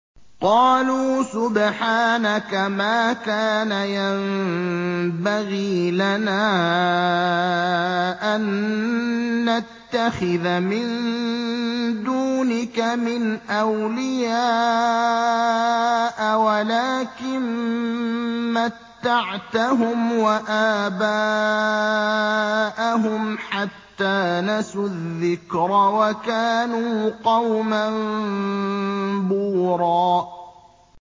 قَالُوا سُبْحَانَكَ مَا كَانَ يَنبَغِي لَنَا أَن نَّتَّخِذَ مِن دُونِكَ مِنْ أَوْلِيَاءَ وَلَٰكِن مَّتَّعْتَهُمْ وَآبَاءَهُمْ حَتَّىٰ نَسُوا الذِّكْرَ وَكَانُوا قَوْمًا بُورًا